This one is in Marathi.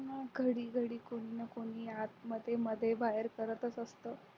मग घरी घरी कोणी ना कोणी आत मध्ये बाहेर करत असतं